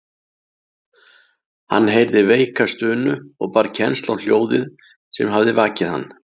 Hann heyrði veika stunu og bar kennsl á hljóðið sem hafði vakið hann.